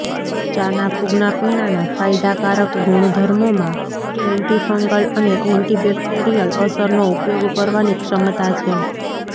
ચાના ફૂગના પીણાંના ફાયદાકારક ગુણધર્મોમાં એન્ટીફંગલ અને એન્ટીબેક્ટેરિયલ અસરનો ઉપયોગ કરવાની ક્ષમતા છે